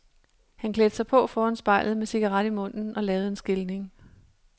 Han klædte sig på foran spejlet med cigaret i munden og lavede en skilning.